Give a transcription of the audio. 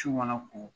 Ci mana ko